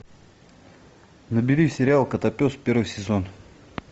набери сериал котопес первый сезон